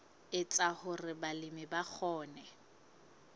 etsa hore balemi ba kgone